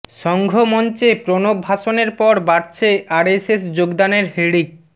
সঙ্ঘ মঞ্চে প্রণব ভাষণের পর বাড়ছে আরএসএস যোগদানের হিড়িক